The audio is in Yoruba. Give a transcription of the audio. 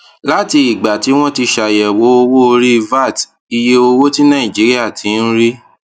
láti ìgbà tí wọn ti ṣàyèwò owó orí vat iye owó tí nàìjíríà ti ń rí